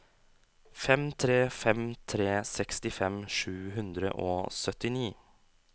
fem tre fem tre sekstifem sju hundre og syttini